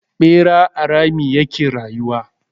Ɓera a rami ya ke rayuwa.